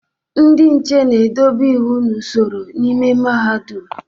Ndị nche na-edobe iwu na usoro n'ime Mahadum.